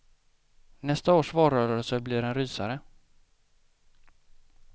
Nästa års valrörelse blir en rysare.